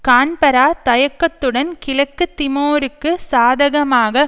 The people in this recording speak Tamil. கான்பரா தயக்கத்துடன் கிழக்கு திமோருக்கு சாதகமாக